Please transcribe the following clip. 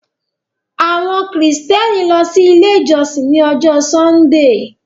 Àwọn Kristiani lọ sí ilẹ̀ ijọsìn ní Ọ̀jọ̀ Sundee